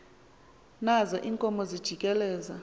nazo iinkomo zijikeleza